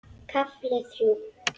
KAFLI ÞRJÚ